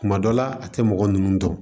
Kuma dɔ la a tɛ mɔgɔ ninnu dɔn